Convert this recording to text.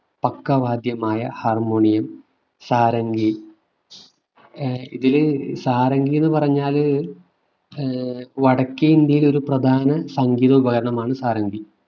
പക്കവാദ്യമായ Harmonium sarangi ഇതിലെ സാരംഗി എന്ന് പറഞ്ഞാൽ ഏർ വടക്കേ ഇന്ത്യയിലെ ഒരു പ്രധാന സംഗീത ഉപകരണമാണ് സാരംഗി